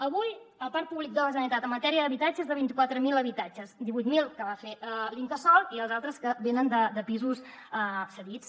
avui el parc públic de la generalitat en matèria d’habitatge és de vint quatre mil habitatges divuit mil que va fer l’incasòl i els altres que venen de pisos cedits